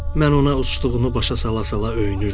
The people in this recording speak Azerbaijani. Mən ona uçduğunu başa sala-sala öyünürdüm.